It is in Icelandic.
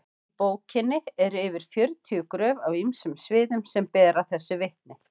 í bókinni eru yfir fjörutíu gröf af ýmsum sviðum sem bera þessu vitni